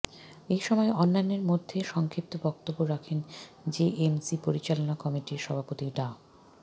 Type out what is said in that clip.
এসময় অন্যান্যের মধ্যে সংক্ষিপ্ত বক্তব্য রাখেন জেএমসি পরিচালনা কমিটির সভাপতি ডা